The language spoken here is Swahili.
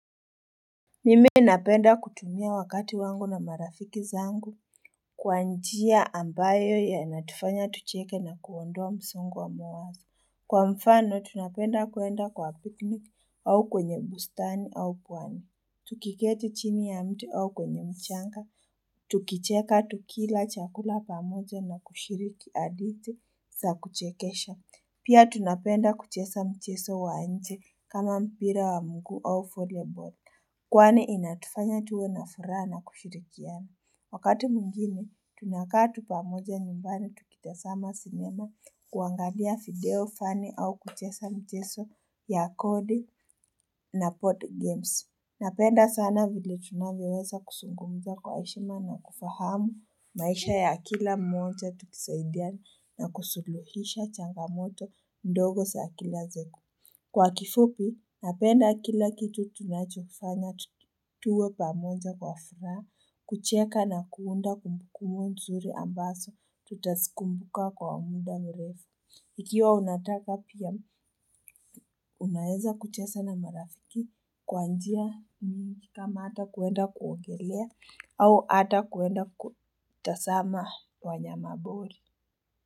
Mimi napenda kutumia wakati wangu na marafiki zangu Kwa njia ambayo yanatufanya tucheke na kuondoa msongo wa mawazo Kwa mfano tunapenda kuenda kwa pikni au kwenye bustani au pwani Tukiketi chini ya mtu au kwenye mchanga Tukicheka tukila chakula pamoja na kushiriki hadithi za kuchekesha Pia tunapenda kucheza mchezo wa nje kama mpira wa mguu au volleyball Kwani inatufanya tuwe na furaha na kushirikiani. Wakati mwingine tunakaa tu pamoja nyumbani tukitazama sinema kuangalia video funny au kucheza mchezo ya kodi na pod games. Napenda sana vile tunanvyoweza kuzungumza kwa heshima na kufahamu maisha ya kila mmoja tukisaidiani na kusuluhisha changamoto ndogo za akila zeku. Kwa kifupi, napenda kila kitu tunachokifanya, tuwe pamoja kwa furaha, kucheka na kuunda kumbukumbu nzuri ambazo, tutazikumbuka kwa muda mrefu. Ikiwa unataka pia, unaeza kucheza na marafiki kwa njia ni kama ata kuenda kuogelea au ata kuenda kutazama wanyama pori.